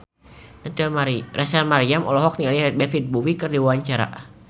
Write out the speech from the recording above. Rachel Maryam olohok ningali David Bowie keur diwawancara